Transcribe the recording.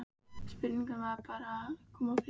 Spurningin er bara hvað þarf að koma fyrst.